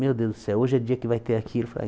Meu Deus do céu, hoje é dia que vai ter aquilo. Falei ai